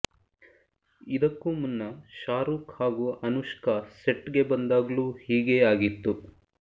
ಇದಕ್ಕೂ ಮುನ್ನ ಶಾರುಕ್ ಹಾಗೂ ಅನುಷ್ಕಾ ಸೆಟ್ ಗೆ ಬಂದಾಗ್ಲೂ ಹೀಗೆ ಆಗಿತ್ತು